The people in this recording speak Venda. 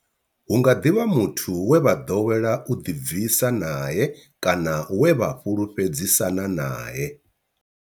Hu nga ḓi vha muthu we vha ḓowela u ḓibvisa nae kana we vha fhulufhedzisana nae.